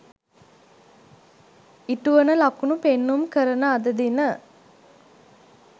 ඉටුවන ලකුණු පෙන්නුම් කරන අද දින